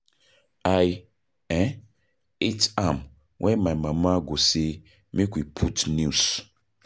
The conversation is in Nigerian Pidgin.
I um hate am wen my mama go say make we put news